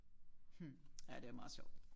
Hm ja det er meget sjovt